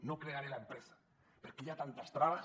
no crearé l’empresa perquè hi ha tantes traves